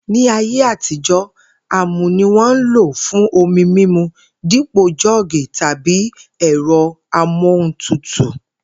Ní ayé àtijó̩, àmù ni wó̩n n lò fún omi mímu dípò jó̩ò̩gì tàbí e̩ro̩ amohuntutù